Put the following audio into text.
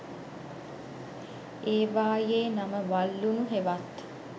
ඒවා යේ නම වල් ලුණු හෙවත්